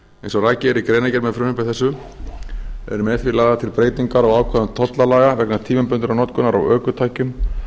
eins og rakið er í greinargerð með frumvarpi þessu eru með því lagðar til breytingar á ákvæðum tollalaga vegna tímabundinnar notkunar á ökutækjum